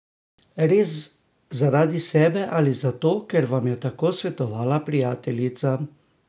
Res zaradi sebe, ali zato, ker vam je tako svetovala prijateljica?